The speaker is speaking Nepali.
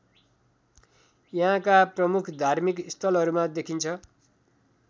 यहाँका प्रमुख धार्मिक स्थलहरूमा देखिन्छ